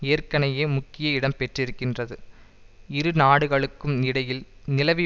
ஏற்கெனயே முக்கிய இடம் பெற்றிருக்கின்றது இரு நாடுகளுக்கும் இடையில் நிலவி